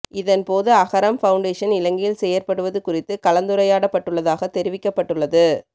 இதன் போது அகரம் பவுண்டேஷன் இலங்கையில் செயற்படுவது குறித்து கலந்துரையாடப்பட்டுள்ளதாக தெரிவிக்கப்பட்டுள்ளது